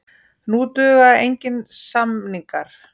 Nú duga engir samningar.